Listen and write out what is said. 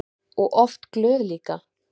Og oft glöð líka.